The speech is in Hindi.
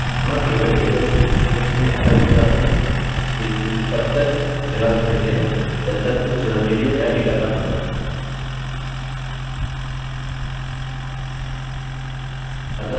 वह केवल table सूचियों से अलग हो जाते हैं किन्तु तब तक जगह घेरते हैं जब तक उस जगह के लिए नया data न जोड़ें